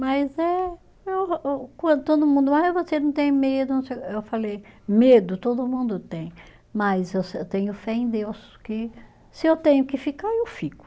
Mas é, eu quando todo mundo ah e você não tem medo, não sei, eu falei, medo todo mundo tem, mas eu eu tenho fé em Deus, que se eu tenho que ficar, eu fico.